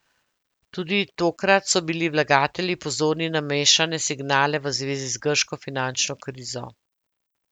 Tudi tokrat so bili vlagatelji pozorni na mešane signale v zvezi grško finančno krizo.